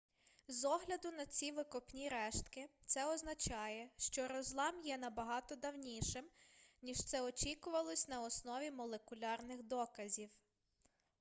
з огляду на ці викопні рештки це означає що розлам є набагато давнішим ніж це очікувалось на основі молекулярних доказів